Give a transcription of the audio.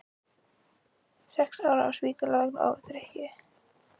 Sex ára á spítala vegna ofdrykkju